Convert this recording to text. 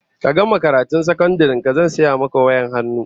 Ka gama karatun sakandaren ka zan saya maka wayar hannu